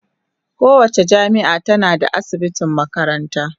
Kowace jami'a tana da asibitin makaranta.